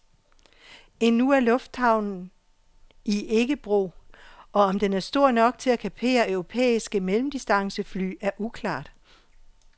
Endnu er lufthavnen i ikke brug, og om den er stor nok til at kapere europæiske mellemdistancefly er uklart.